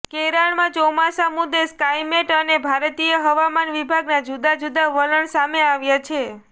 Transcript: કેરળમાં ચોમાસા મુદ્દે સ્કાઇમેટ અને ભારતીય હવામાન વિભાગના જુદા જુદા વલણ સામે આવ્યા છે